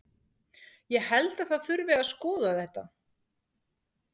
Ég held að það þurfi að skoða þetta.